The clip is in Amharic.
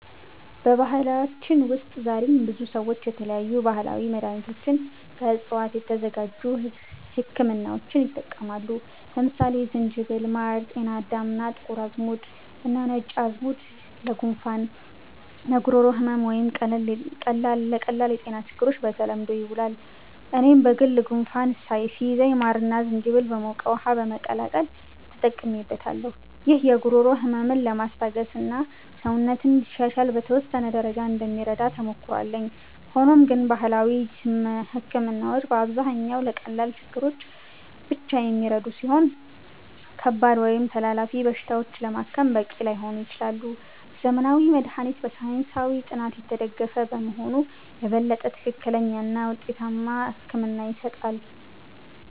በባህላችን ውስጥ ዛሬም ብዙ ሰዎች የተለያዩ ባህላዊ መድሃኒቶችንና ከዕፅዋት የተዘጋጁ ህክምናዎችን ይጠቀማሉ። ለምሳሌ ዝንጅብል፣ ማር፣ ጤናዳም፣ ጥቁር አዝሙድ እና ነጭ ሽንኩርት ለጉንፋን፣ ለጉሮሮ ህመም ወይም ለቀላል የጤና ችግሮች በተለምዶ ይውላሉ። እኔም በግል ጉንፋን ሲይዘኝ ማርና ዝንጅብል በሞቀ ውሃ በመቀላቀል ተጠቅሜበታለሁ። ይህ የጉሮሮ ህመምን ለማስታገስና ሰውነትን እንዲሻሻል በተወሰነ ደረጃ እንደሚረዳ ተሞክሮ አለኝ። ሆኖም ግን ባህላዊ ህክምናዎች በአብዛኛው ለቀላል ችግሮች ብቻ የሚረዱ ሲሆኑ፣ ከባድ ወይም ተላላፊ በሽታዎችን ለማከም በቂ ላይሆኑ ይችላሉ። ዘመናዊ መድሃኒት በሳይንሳዊ ጥናት የተደገፈ በመሆኑ የበለጠ ትክክለኛና ውጤታማ ሕክምና ይሰጣል።